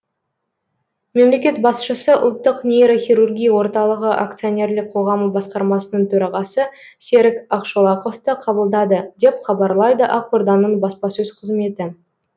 мемлекет басшысы ұлттық нейрохирургия орталығы акционерлік қоғамы басқармасының төрағасы серік ақшолақовты қабылдады деп хабарлайды ақорданың баспасөз қызметі